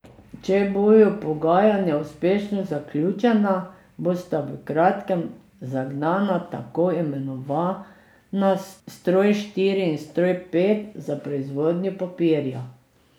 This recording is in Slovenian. Če bodo pogajanja uspešno zaključena, bosta v kratkem zagnana tako imenovana stroj štiri in stroj pet za proizvodnjo papirja.